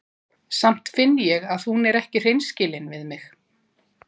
Samt finn ég að hún er ekki hreinskilin við mig.